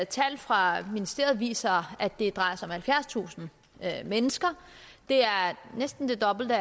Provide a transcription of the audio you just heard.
tal fra ministeriet viser at det drejer sig om halvfjerdstusind mennesker det er næsten det dobbelte